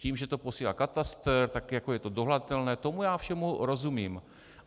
Tím, že to posílá katastr, tak jako je to dohledatelné, tomu já všemu rozumím.